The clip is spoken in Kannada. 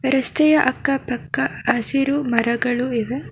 ರಸ್ತೆಯ ಅಕ್ಕಪಕ್ಕ ಹಸಿರು ಮರಗಳು ಇದೆ.